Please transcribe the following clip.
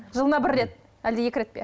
жылына бір рет әлде екі рет пе